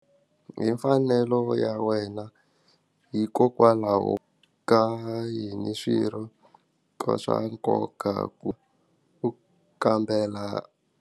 Hi mfanelo ya wena hikokwalaho ka yini swirho ka swa nkoka ku u kambela.